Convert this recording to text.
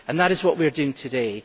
That is what we are doing today.